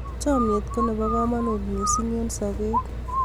chamiet ko nebo kamangut missing eng sabet